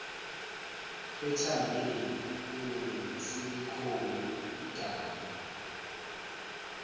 ethambile kunesilikhoni idami